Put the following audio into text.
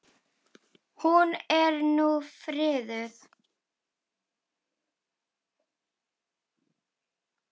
Hún er nú friðuð.